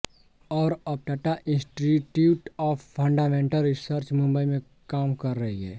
और अब Tata institute of fundamental research Mumbai में काम कर रही हैं